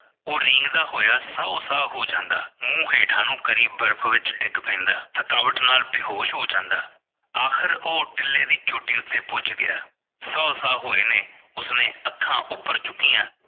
ਉਹ ਰੀਂਗਦਾ ਦਾ ਹੋਇਆ ਸਾਹੋ ਸਾਹ ਹੋ ਜਾਂਦਾ ਮੂੰਹ ਹੇਠਾਂ ਨੂੰ ਕਰੀਬ ਬਰਫ਼ ਵਿੱਚ ਡਿੱਗ ਪੈਂਦਾ ਥਕਾਵਟ ਨਾਲ ਬੇਹੋਸ਼ ਹੋ ਜਾਂਦਾ ਆਖਿਰ ਉਹ ਟਿਲੇ ਦੀ ਚੋਟੀ ਉੱਤੇ ਪੁੱਜ ਗਿਆ ਸਾਹੋ ਸਾਹ ਹੋਏ ਨੇ ਉਸਨੇ ਅੱਖਾਂ ਉੱਪਰ ਚੁਕਇਆ